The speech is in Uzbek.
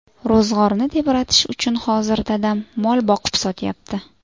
Ro‘zg‘orni tebratish uchun hozir dadam mol boqib sotyapti.